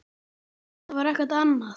Það var ekkert annað.